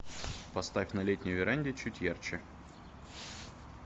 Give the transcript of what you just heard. поставь на летней веранде чуть ярче